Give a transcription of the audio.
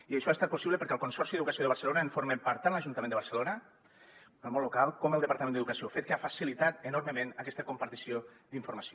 i això ha estat possible perquè del consorci d’educació de barcelona en formem part tant l’ajuntament de barcelona el món local com el departament d’educació fet que ha facilitat enormement aquesta compartició d’informació